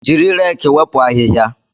Jiri reeki wepụ ahịhịa